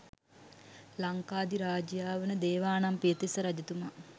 ලංකාධිරාජයා වන දේවානම්පියතිස්ස රජතුමා